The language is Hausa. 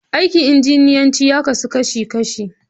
Aikin injiniyanci ya kasu kashi kashi.